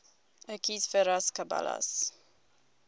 equus ferus caballus